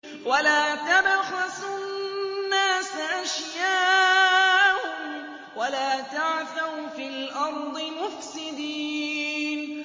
وَلَا تَبْخَسُوا النَّاسَ أَشْيَاءَهُمْ وَلَا تَعْثَوْا فِي الْأَرْضِ مُفْسِدِينَ